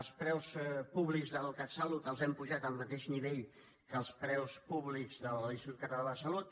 els preus públics del catsalut els hem apujat al mateix nivell que els preus públics de l’institut català de la salut